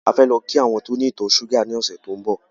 A fẹ́ lọ kí àwọn tó ní ìtọ̀ ṣúgà ní ọ̀sẹ̀ tí ó ń bọ̀.